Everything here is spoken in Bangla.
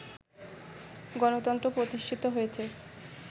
গণতন্ত্র প্রতিষ্ঠিত হয়েছে